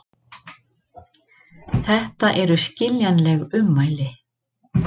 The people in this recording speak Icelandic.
Þetta eru skiljanleg ummæli